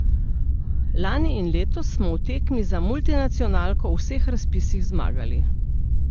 Lani in letos smo v tekmi za multinacionalko v vseh razpisih zmagali.